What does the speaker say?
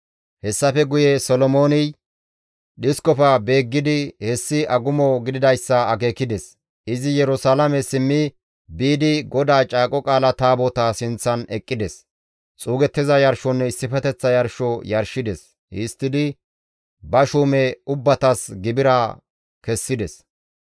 Hessafe guye Solomooney dhiskofe beeggidi hessi agumo gididayssa akeekides; izi Yerusalaame simmi biidi GODAA Caaqo Qaala Taabotaa sinththan eqqides; xuugettiza yarshonne issifeteththa yarsho yarshides. Histtidi ba shuume ubbatas gibira kessides.